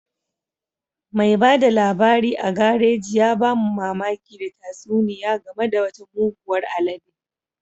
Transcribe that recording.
Mai ba da labari a garaji ya ba mu mamaki da tatsuniya game da wata muguwar alede